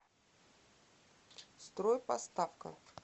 стройпоставка